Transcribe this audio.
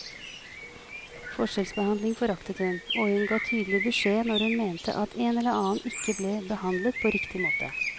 Forskjellsbehandling foraktet hun, og hun ga tydelig beskjed når hun mente at en eller annen ikke ble behandlet på riktig måte.